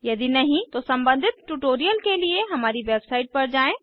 यदि नहीं तो सम्बंधित ट्यूटोरियल के लिए हमारी वेबसाइट पर जाएँ